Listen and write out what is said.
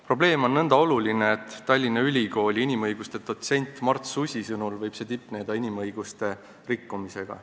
Probleem on nõnda oluline, et Tallinna Ülikooli inimõiguste dotsendi Mart Susi sõnul võib see tipneda inimõiguste rikkumisega.